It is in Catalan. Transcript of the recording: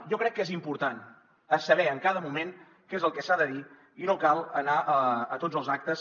jo crec que és important saber en cada moment què és el que s’ha de dir i no cal anar a tots els actes